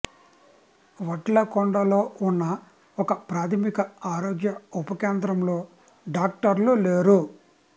వడ్లకొండలో ఉన్న ఒక ప్రాథమిక ఆరోగ్య ఉప కేంద్రంలో డాక్టర్లు లేరు